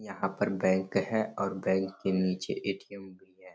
यहाँ पर बैंक है और बैंक के नीचे ए.टी.एम भी है।